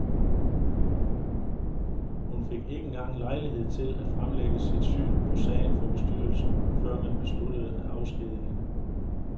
Hun fik ikke engang lejlighed til at fremlægge sit syn på sagen for bestyrelsen, før man besluttede at afskedige hende.